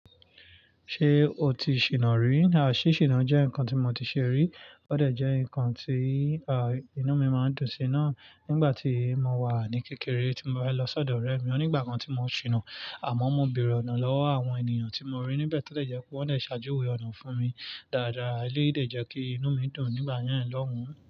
Ṣé o ti ṣìná rí? Aà, ṣí ṣìná jẹ́ nǹkan tí mo ti ṣe rí, ó dẹ̀ jẹ́ nǹkan tí, à, inú mi máa ń dùn sí í náà nígbà tí mo wà ní kékeré tí mo bá lọ sọ́dọ̀ ọ̀rẹ́ mi. Ò ní ìgbà kan tí mo ṣìnà, a mo mo bèrè ọ̀nà lọ́wọ́ àwọn ènìyàn tí mo rí níbẹ̀ tó dẹ̀ jepe wọ́n dẹ̀ ṣe ajuwe ọ̀nà fúnmi dáadáa. Eléyi dẹ̀ jẹ́ kí inú mi dùn nígbà na lohun.